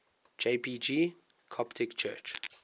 jpg coptic church